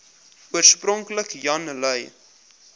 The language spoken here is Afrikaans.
oorspronklik jan lui